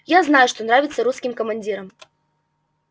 я знаю что нравится русским командирам